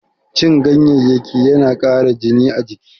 Cin ganyayyaki yana ƙara jini a jiki.